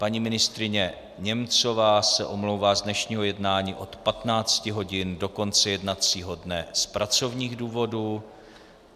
Paní ministryně Němcová se omlouvá z dnešního jednání od 15 hodin do konce jednacího dne z pracovních důvodů.